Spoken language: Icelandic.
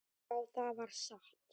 Já, það var satt.